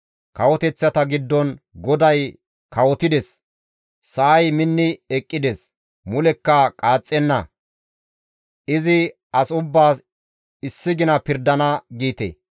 Kawoteththata giddon, «GODAY kawotides! Sa7ay minni eqqides; mulekka qaaxxenna; izi as ubbaas issi gina pirdana» giite.